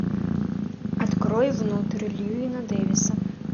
открой внутри льюина дэвиса